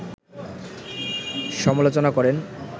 সমালোচনা করেন